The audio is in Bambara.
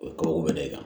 O ye ko wɛrɛ kan